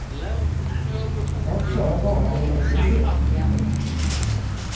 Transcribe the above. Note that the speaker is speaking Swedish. Jag kör bara då det behövs.